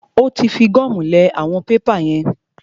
Ó tí fi gọ́mù lẹ àwọn pépà yẹn pap.